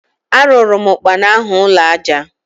Arụụrụ m ụkpana ahụ ụnọ aja.